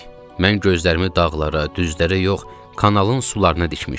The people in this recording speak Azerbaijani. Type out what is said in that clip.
Mən gözlərimi dağlara, düzlərə yox, kanalın sularına dikmişdim.